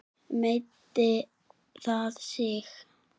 Meiddi það sig?